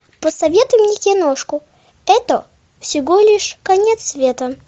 посоветуй мне киношку это всего лишь конец света